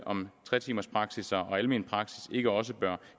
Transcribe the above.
om tre timers praksis og almen praksis ikke også bør